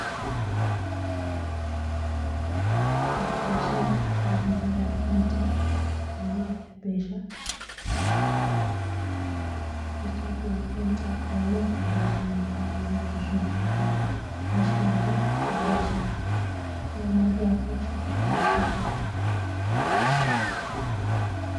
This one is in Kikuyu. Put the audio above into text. Mũndũ wa biacara no ahũthĩre akaũnti ya kũhonokia mbeca, nĩ tondũ akaũnti ya kũhonokia mbeca nĩikoragwo na gĩcunjĩ kĩa maciaro harĩ mbeca iria mũndũ wa biacara aigithia.